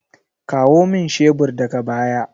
Kawo min shebur daga baya!